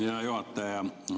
Hea juhataja!